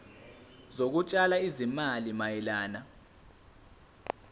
zokutshala izimali mayelana